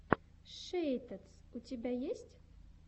шейтадс у тебя есть